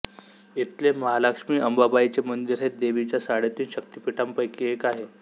इथले महालक्ष्मी अंबाबाईचे मंदिर हे देवीच्या साडेतीन शक्तिपीठांपैकी एक आहे